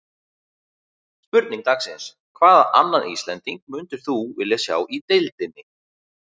Spurning dagsins: Hvaða annan Íslending myndir þú vilja sjá í deildinni?